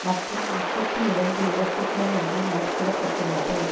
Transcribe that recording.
மற்றும் முப்பத்தி இரண்டு இறப்புக்கள் என்று மதிப்பிட பட்டுள்ளது